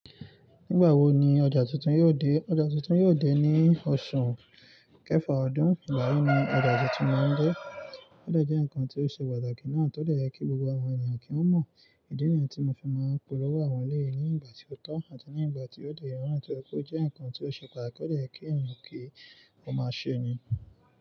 Nígbà wo ni ọjà tuntun yóò dé? Ọjà tuntun yóò dé ní oṣù kẹfà ọdún. Ìgbà yí ni ọjà tuntun máa ń dé. Ọdẹ jẹ́ ǹkan tí ó ṣe pàtàkì náà tó dẹ̀ yi kí gbogbo àwọn ènìyàn kí wọ́n mọ̀. Ìdí nìyẹn tí mo fi máa ń polówó àwọn léyi ní ìgbà tí ó tó àti ní ìgbà tí ó dẹ̀ ye naa. Ti ó jẹ́ ǹkan tí ó ṣe pàtàkì ó dẹ̀ ye kí ènìyàn kí ó máa ṣe ni.